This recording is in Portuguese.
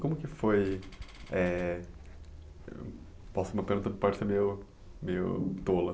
Como que foi... é... Posso meio meio tola.